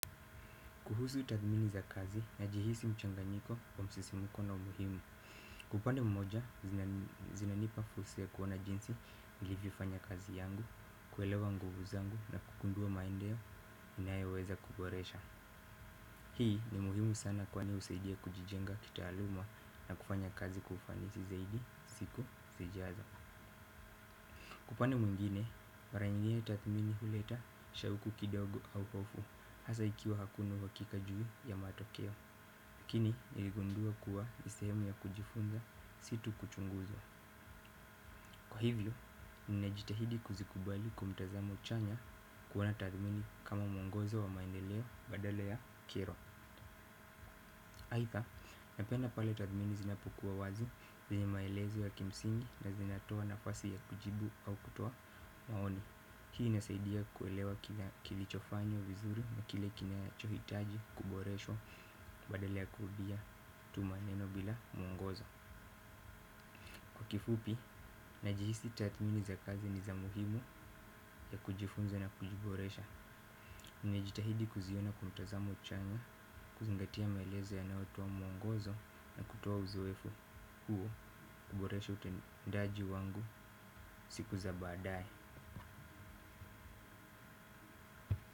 Kuhusu tathmini za kazi najihisi mchanganyiko wa msisimuko na umuhimu. Kwa upande mmoja, zinanipa fursa ya kuona jinsi nilivyofanya kazi yangu, kuelewa nguvu zangu na kugundua maeneo ninayoweza kuboresha. Hii ni muhimu sana kwani husaidia kujijenga kitaaluma na kufanya kazi kwa ufanisi zaidi, siku, zijazo. Kwa upande mwingine, mara nyingine tathmini huleta, shauku kidogo au pofu, hasa ikiwa hakuna uhakika juu ya matokeo. Lakini niligundua kuwa ni sehemu ya kujifunza si tu kuchunguzwa. Kwa hivyo, ninajitahidi kuzikubali kwa mtazamo chanya kuona tathmini kama mwongozo wa maendeleo badale ya kero aidha, napenda pale tathmini zinapokuwa wazi zenye maelezo ya kimsingi na zinatoa nafasi ya kujibu au kutoa maoni. Hii inasaidia kuelewa kilichofanyo vizuri na kile kinachohitaji kuboreshwa badala ya kurudia tu maneno bila mwongozo. Kwa kifupi, najihisi tathmini za kazi ni za muhimu ya kujifunza na kujiboresha nimejitahidi kuziona kwa mtazamo chanya, kuzingatia maelezo yanayotoa mwongozo na kutoa uzoefu huo kuboresha utendaji wangu siku za baadaye.